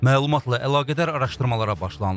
Məlumatla əlaqədar araşdırmalara başlanılıb.